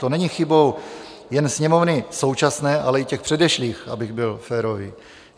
To není chybou jen sněmovny současné, ale i těch předešlých, abych byl férový.